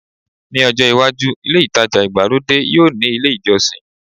Ní ọjọ́ iwájú, ilé ìtajà ìgbàlódé yóò ní ilé ìjọsìn